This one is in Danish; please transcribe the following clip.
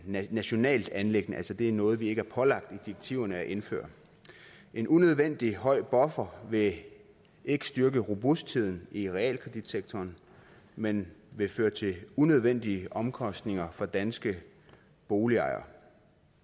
nationalt anliggende altså det er noget vi ikke er pålagt i direktiverne at indføre en unødvendig høj buffer vil ikke styrke robustheden i realkreditsektoren men vil føre til unødvendige omkostninger for danske boligejere